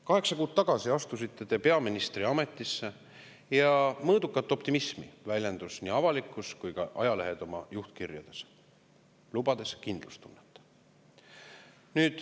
Kaheksa kuud tagasi astusite te peaministriametisse ja mõõdukat optimismi väljendasid nii avalikkus kui ka ajalehed oma juhtkirjades, lubades kindlustunnet.